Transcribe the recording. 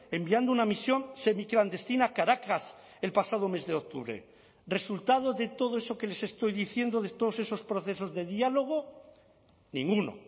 enviando una misión semiclandestina a caracas el pasado mes de octubre resultado de todo eso que les estoy diciendo de todos esos procesos de diálogo ninguno